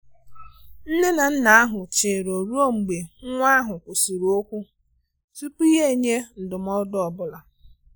Nne na nna ahụ chere ọ ruo mgbe nwa ahụ kwụsịrị okwu tupu ya enye ndụmọdụ ọ bụla.